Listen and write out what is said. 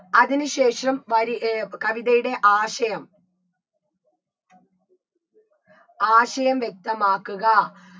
അതിന് ശേഷം വരി ഏർ കവിതയുടെ ആശയം ആശയം വ്യക്തമാക്കുക